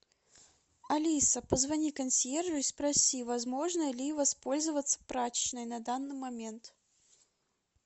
алиса позвони консьержу и спроси возможно ли воспользоваться прачечной на данный момент